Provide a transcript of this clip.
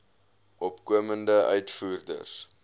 opkomende uitvoerders